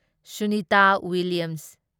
Sunita Williams